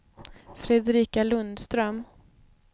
Fredrika Lundström